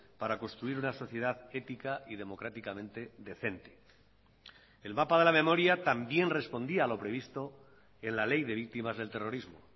para construir una sociedad ética y democráticamente decente el mapa de la memoria también respondía a lo previsto en la ley de víctimas del terrorismo